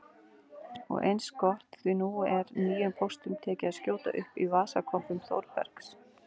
Og eins gott því nú er nýjum póstum tekið að skjóta upp í vasakompum Þórbergs